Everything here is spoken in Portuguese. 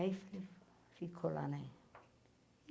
Aí ficou lá, né?